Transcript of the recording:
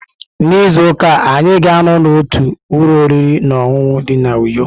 N'izu ụka a, anyị ga-anọ n'otu ụlọ oriri na ọṅụṅụ dị na Uyo.